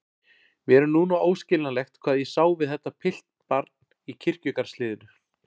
Mér er núna óskiljanlegt hvað ég sá við þetta piltbarn í kirkjugarðshliðinu.